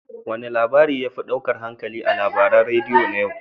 Wane labari ya fi ɗaukar hankalinka a labaran radiyo na yau?